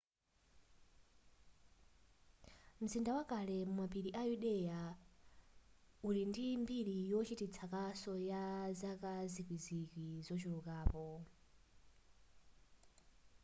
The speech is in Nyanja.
mzinda wakale mumapiri a yudea uli ndi mbiri yochititsa kaso ya zaka zikwizikwi zochulukirapo